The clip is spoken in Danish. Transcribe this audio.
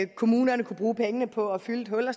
kommunerne kunne bruge pengene på at fylde et hul og